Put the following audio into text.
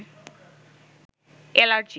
allergy